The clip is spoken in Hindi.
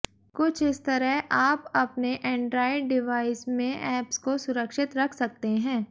कुछ इस तरह आप अपने एंड्राइड डिवाइस में एप्स को सुरक्षित रख सकते हैं